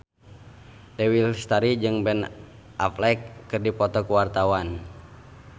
Dewi Lestari jeung Ben Affleck keur dipoto ku wartawan